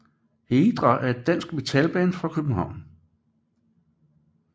Heidra er et dansk metalband fra København